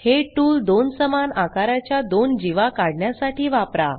हे टूल दोन समान आकाराच्या दोन जीवा काढण्यासाठी वापरा